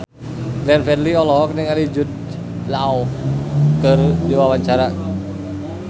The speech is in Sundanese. Glenn Fredly olohok ningali Jude Law keur diwawancara